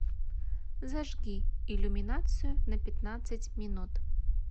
зажги иллюминацию на пятнадцать минут